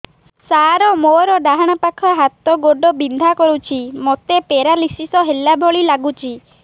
ସାର ମୋର ଡାହାଣ ପାଖ ହାତ ଗୋଡ଼ ବିନ୍ଧା କରୁଛି ମୋତେ ପେରାଲିଶିଶ ହେଲା ଭଳି ଲାଗୁଛି